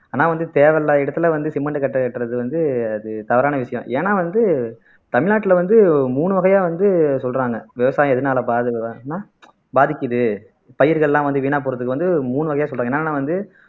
ஆனா வந்து தேவையில்லாத இடத்துல வந்து சிமெண்ட் கட்டை கட்டுறது வந்து அது தவறான விஷயம் ஏன்னா வந்து தமிழ்நாட்டுல வந்து மூணு வகையா வந்து சொல்றாங்க விவசாயம் எதனால பாதிக்கப்படுதுன்னா பாதிக்குது பயிர்கள்லாம் வந்து வீணா போறதுக்கு வந்து மூணு வகையா சொல்றாங்க என்னன்னா வந்து